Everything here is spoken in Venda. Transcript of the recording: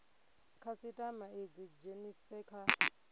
khasitama i dzi dzhenise kha